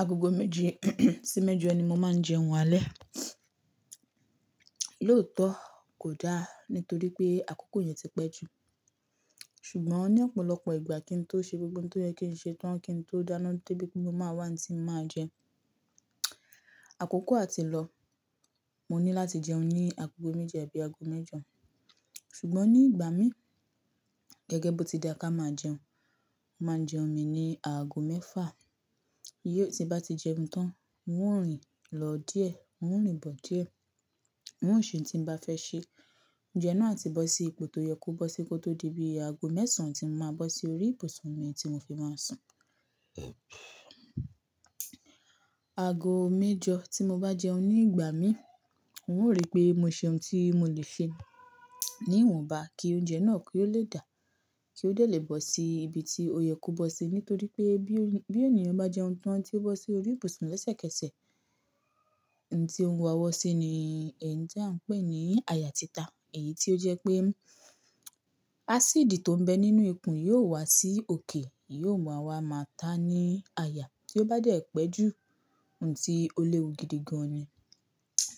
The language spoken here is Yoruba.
Agogo méje sí mẹ́jọ ni mo máa ń jẹun alẹ́. Lóòótọ́ kò dá nítorí pé àkókò yẹn ti pẹ́ jù. Ṣùgbọ́n ní ọ̀pọ̀lọpọ̀ ìgbà kí n tó ṣe gbogbo ohun tó yẹ kí n ṣe tán, kí n tó dáná débi pé mo máa wá oun tí mo máa jẹ. Àkókò àti lọ, mo ní láti jẹun ní agogo méje àbí ago mẹ́jọ. Ṣùgbọ́n ní ìgbà mí, gẹ́gẹ́ bó ti dà ká máa jẹun, mo máa jẹun mi ní aago mẹ́fà. Yíò tí bá ti jẹun tán, n ó rìn lọ díẹ̀, n ó rìn bọ̀ díẹ̀, n ó ṣe ohun tí n bá fẹ́ ṣe. Oúnjẹ náà á ti bọ́ sí ipò tó yẹ kó bọ́ sí kó tó dé bí ago mẹ́sàn-án tí mo máa bọ́ sí orí ibùsùn mi tí mo fi máa sùn. Ago mẹ́jọ tí mo bá jẹun ní ìgbà mí, n ó rí pé mo ṣe ohun tí mo lè se ní ìwọ̀nba kí oúnjẹ náà kí ó lè dà, kí ó dè lé bọ́ sí ibi tí ó yẹ kó bọ́ sí nítorí pé bí oní-bí ènìyàn bá jẹun tán tí ó bọ́ sí orí ibùsùn lesẹ̀kẹsẹ̀, ohun tí ó ń wa wọ́ sí ni ẹ́ń tí à ń pè ní àyà títa. Èyí tí ó jẹ́ pé acid tó ń bẹ nínú ikùn yóò wá sí òkè yóò ma wa máa ta ní àyà. Tí ó bá dé pẹ́ jù ohun tí ó léwu gidigan ni.